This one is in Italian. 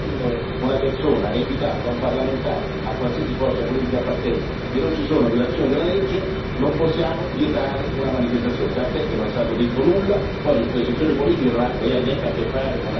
Stavo rispondendo quando una persona è invitata da un parlamentare, a qualsiasi forza politica appartenga, e non ci sono violazioni della legge, non possiamo vietare una manifestazione.